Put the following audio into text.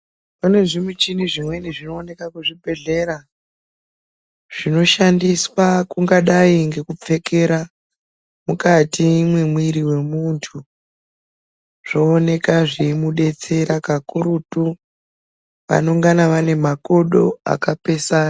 Pane zvimuchini zvimweni zvinoonekwa kuzvibhedhlera zvinoshandiswa kungadai ngekupfekera mukati memwiri wemuntu zvooneka zveimudetsera kakurutu anongana ane makodo akapesana.